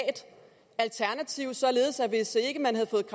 alternativ således at hvis ikke man havde fået